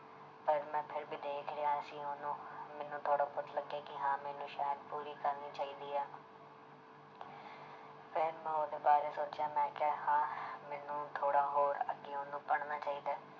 ਪਰ ਮੈਂ ਫਿਰ ਵੀ ਦੇਖ ਰਿਹਾ ਸੀ ਉਹਨੂੰ ਮੈਨੂੰ ਥੋੜ੍ਹਾ ਬਹੁਤ ਲੱਗਿਆ ਕਿ ਹਾਂ ਮੈਨੂੰ ਸ਼ਾਇਦ ਪੂਰੀ ਕਰਨੀ ਚਾਹੀਦੀ ਹੈ ਫਿਰ ਮੈਂ ਉਹਦੇ ਬਾਰੇ ਸੋਚਿਆ ਮੈਂ ਕਿਹਾ ਹਾਂ ਮੈਨੂੰ ਥੋੜ੍ਹਾ ਹੋਰ ਅੱਗੇ ਉਹਨੂੰ ਪੜ੍ਹਨਾ ਚਾਹੀਦਾ ਹੈ